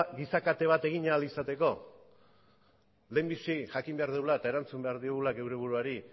giza kate bat egin ahal izateko lehenbizi jakin behar dugula eta erantzun behar diogula gure buruari